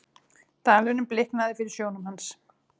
Dalurinn bliknaði fyrir sjónum hans.